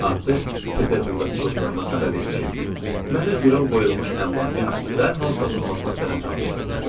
Artıq Peterburqdakı dostlarıma xəbər vermişəm ki, mənə girov qoyulmuş əmlakın dərhal satılmasına sərəncam versinlər.